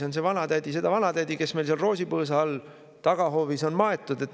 Me ei tea midagi sellest vanatädist, kes meil sinna roosipõõsa alla tagahoovis on maetud.